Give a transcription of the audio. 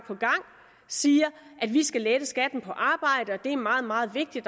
siger at vi skal lette skatten på arbejde det er meget meget vigtigt